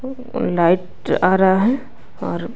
light आ रहा है और --